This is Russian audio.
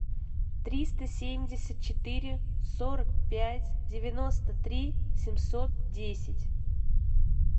триста семьдесят четыре сорок пять девяносто три семьсот десять